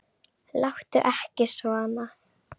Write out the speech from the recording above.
Láttu ekki svona